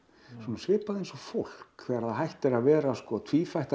svipað eins og fólk þegar það hættir að vera